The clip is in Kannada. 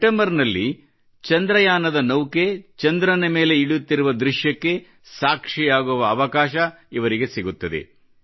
ಸೆಪ್ಟೆಂಬರ್ ನಲ್ಲಿ ಚಂದ್ರಯಾನದ ನೌಕೆ ಚಂದ್ರನ ಮೇಲೆ ಇಳಿಯುತ್ತಿರುವ ದೃಶ್ಯಕ್ಕೆ ಸಾಕ್ಷಿಯಾಗುವ ಅವಕಾಶ ಇವರಿಗೆ ಸಿಗುತ್ತದೆ